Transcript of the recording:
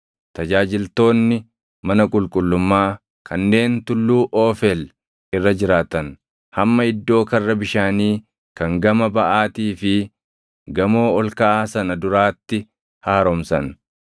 tajaajiltoonni mana qulqullummaa kanneen tulluu Oofeel irra jiraatan hamma iddoo Karra Bishaanii kan gama baʼaatii fi gamoo ol kaʼaa sana duraatti haaromsan.